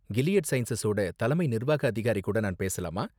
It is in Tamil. கிலீயட் சயின்ஸஸோட தலைமை நிர்வாக அதிகாரி கூட நான் பேசலாமா?